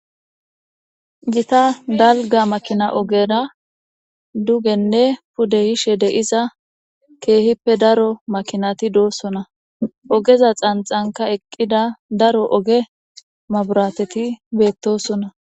Gita dalga makina ogera dugenne pude yishe de'iza keehippe daro makinati doosona ogeza xanxanka eqida daro oge maburateti beetosona